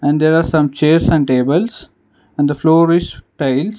And there are some chairs and tables and the floor is tiles.